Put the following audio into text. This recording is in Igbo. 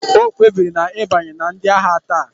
O kpebiri ịbanye na ndị agha taa